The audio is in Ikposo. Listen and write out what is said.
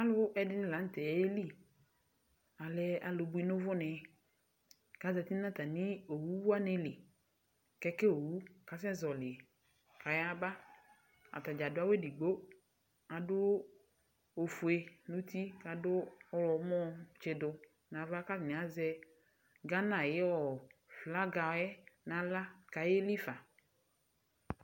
Alʋ ɛdini la nʋ tɛ ayɛli Alɛ alʋ bui nʋ ʋvʋ ni kazati nʋ atami owu wani li, keke owu kasɛzɔli kayaba Atadza adʋ awʋ edigbo, adʋ ofue nʋ uti kʋ adʋ ɔwlɔmɔ tsidʋ nava kʋ atani azɛ Gana ayu flaga yɛ nʋ aɣla kʋ ayɛli fa